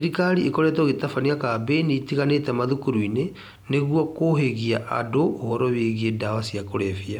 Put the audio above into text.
Thirikari ĩkoretwo ĩgĩtabania kambĩini itiganĩte mathukuru-inĩ nĩguo kũhĩgia andũ ũhoro wĩgiĩ ndawa cia kũrebia